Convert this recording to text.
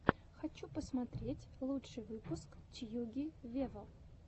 хочу посмотреть лучший выпуск тьюги вево